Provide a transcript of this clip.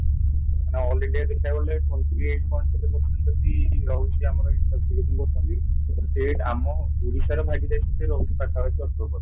ମାନେ all India ଦେଖିବାକୁ ଗଲେ twenty eight point କେତେ per sent ଯଦି ରହୁଛି ଆମର ସେ ଆମ ଓଡିଶାର ଭାଗିଦାରୀ ରହୁଛି ପାଖାପାଖି ଅଠର per cent